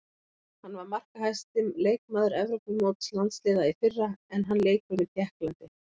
Hann var markahæsti leikmaður Evrópumóts landsliða í fyrra en hann leikur með Tékklandi.